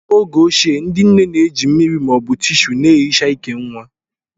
N'oge ochie, ndị nne na-eji mmiri ma ọ bụ Tíshúú na-ehicha ìkè nwa